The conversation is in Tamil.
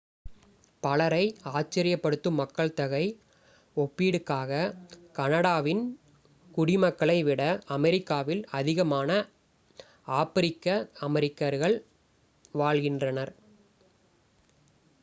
பலரை ஆச்சரியப்படுத்தும் மக்கள்தொகை ஒப்பீடுக்காக கனடாவின் குடிமக்களை விட அமெரிக்காவில் அதிகமான ஆப்பிரிக்க அமெரிக்கர்கள் வாழ்கின்றனர்